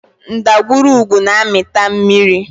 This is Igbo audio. Ndagwurugwu na-amịta mmiri